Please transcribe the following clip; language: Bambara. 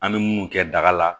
An bɛ munnu kɛ daga la